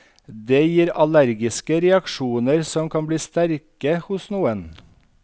Det gir allergiske reaksjoner som kan bli sterke hos noen.